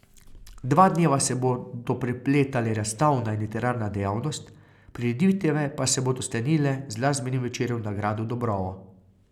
Dva dneva se bodo prepletale razstavna in literarna dejavnost, prireditve pa se bodo sklenile z glasbenim večerom na gradu Dobrovo.